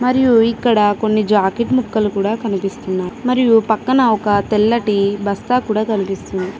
మరియు ఇక్కడ కొన్ని జాకెట్ ముక్కలు కూడా కనిపిస్తున్నాయి. మరియు పక్కన ఒక తెల్లటి బస్తా కూడా కనిపిస్తుంది.